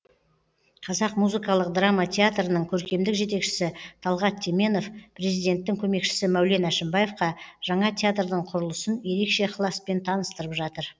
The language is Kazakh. қазақ музыкалық драма театрының көркемдік жетекшісі талғат теменов президенттің көмекшісі мәулен әшімбаевқа жаңа театрдың құрылысын ерекше ықыласпен таныстырып жатыр